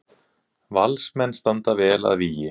Valsmenn standa vel að vígi